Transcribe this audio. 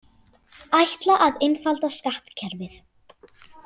Ætla að einfalda skattkerfið